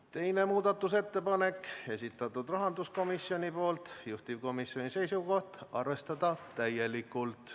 Teine muudatusettepanek, esitanud rahanduskomisjon, juhtivkomisjoni seisukoht on arvestada täielikult.